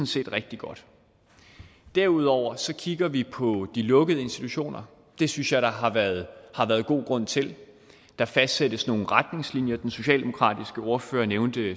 set rigtig godt derudover kigger vi på de lukkede institutioner det synes jeg der har været god grund til der fastsættes nogle retningslinjer den socialdemokratiske ordfører nævnte